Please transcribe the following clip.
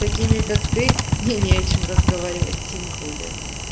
такими как ты мне не о чем разговаривать тем более